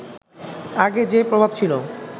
আগে যে প্রভাব ছিল